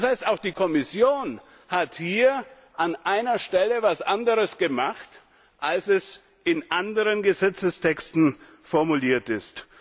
Das heißt, auch die Kommission hat hier an einer Stelle etwas anderes gemacht, als es in anderen Gesetzestexten formuliert ist.